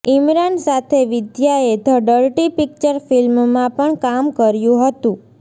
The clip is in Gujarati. ઇમરાન સાથે વિદ્યાએ ધ ડર્ટી પિક્ચર ફિલ્મમાં પણ કામ કર્યુ હતું